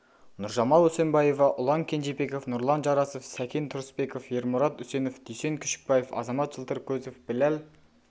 нұржамал үсенбаева ұлан кенжебеков нұрлан жарасов секен тұрысбеков ермұрат үсенов дүйсен күшікбаев азамат жылтыркөзов білал